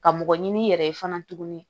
Ka mɔgɔ ɲini i yɛrɛ ye fana tuguni